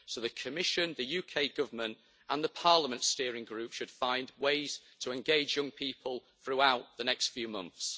So the Commission, the UK Government and the Parliament steering group should find ways to engage young people throughout the next few months.